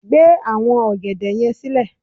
gbe awọn ògèdè yẹn sílẹ